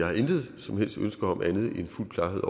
har intet som helst ønske om andet end fuld klarhed